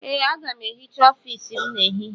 Ee, aga m ehicha ọfiisi m n'ehihie.